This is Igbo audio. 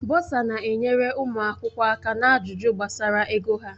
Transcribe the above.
Bọsa na-enyere ụmụ akwụkwọ aka na ajụjụ gbasara ego ha.